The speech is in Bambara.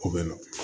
Ko bɛ na